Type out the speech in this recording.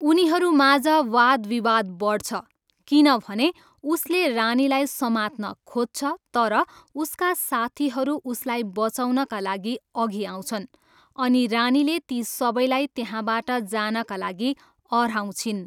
उनीहरूमाझ वादविवाद बढ्छ किनभने उसले रानीलाई समात्न खोज्छ तर उसका साथीहरू उसलाई बचाउनका लागि अघि आउँछन् अनि रानीले ती सबैलाई त्यहाँबाट जानका लागि अह्राउँछिन्।